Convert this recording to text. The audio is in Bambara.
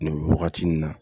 Nin wagati nin na